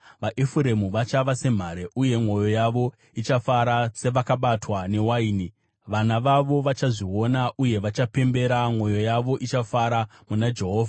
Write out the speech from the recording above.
VaEfuremu vachava semhare, uye mwoyo yavo ichafara sevakabatwa newaini. Vana vavo vachazviona uye vachapembera; Mwoyo yavo ichafara muna Jehovha.